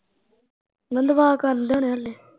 ਮੈਂ ਕਿਹਾਂ ਦੁਆ ਕਰਨ ਡਏ ਹੁਣੇ ਹਲੇ